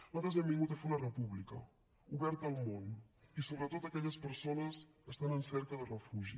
nosaltres hem vingut a fer una república oberta al món i sobretot a aquelles persones que estan en cerca de refugi